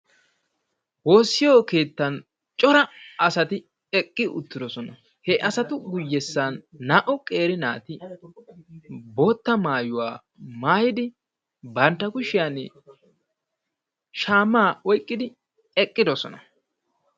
Woossiyo keettan cora asati eqqi uttidosona. He asatu guyyessan naa"u qeeri naati bootta maayuwa maayidi bantta kushiyaani shaamaa oyiqidi eqqidosona.